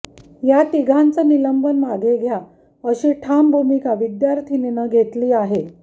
या तिघांचं निलंबन मागे घ्या अशी ठाम भूमिका विद्यार्थीनींनी घेतली आहे